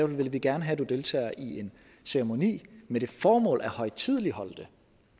vil vi gerne have du deltager i en ceremoni med det formål at højtideligholde det